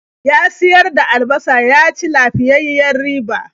Ya siyar da albasa ya ci lafiyayyiyar riba.